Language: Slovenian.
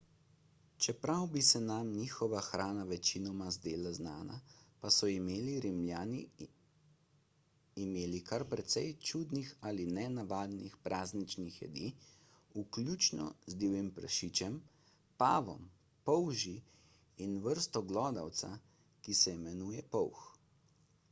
čeprav bi se nam njihova hrana večinoma zdela znana pa so imeli rimljani imeli kar precej čudnih ali nenavadnih prazničnih jedi vključno z divjim prašičem pavom polži in vrsto glodavca ki se imenuje polh